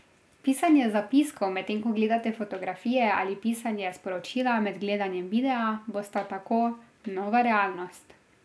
Pisanje zapiskov medtem ko gledate fotografije ali pisanje sporočila med gledanjem videa bosta tako nova realnost.